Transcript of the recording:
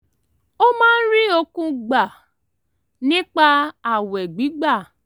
ó máa ń rí okun gbà nípa ààwẹ̀ gbígbà